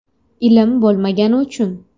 Ilm bo‘lmagani uchun.